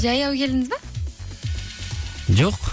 жаяу келдіңіз бе жоқ